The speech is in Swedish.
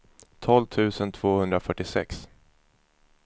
tolv tusen tvåhundrafyrtiosex